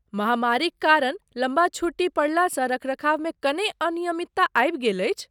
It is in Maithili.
महामारीक कारण लम्बा छुट्टी पड़लासँ रखरखावमे कने अनियमितता आबि गेल अछि।